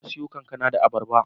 Na siyo kankana da abarba